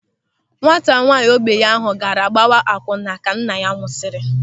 Nwata nwaanyị ogbenye ahụ gaara gbawa akwụnna ka nna ya nwụsịrị.